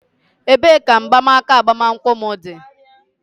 Ebee ka mgbanaka agbamakwụkwọ m dị?